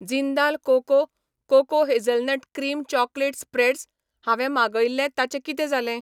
Jindal cocoa cocoa hazelnut cream chocolate spreads हांवें मागयिल्लें ताचें कितें जालें?